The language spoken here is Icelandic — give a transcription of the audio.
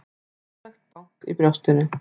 Hrikalegt bank í brjóstinu.